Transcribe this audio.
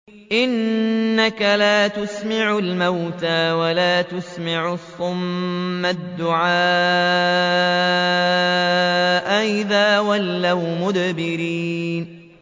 إِنَّكَ لَا تُسْمِعُ الْمَوْتَىٰ وَلَا تُسْمِعُ الصُّمَّ الدُّعَاءَ إِذَا وَلَّوْا مُدْبِرِينَ